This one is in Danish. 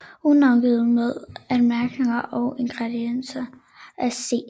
Udgivne med Anmærkninger og Indledninger af C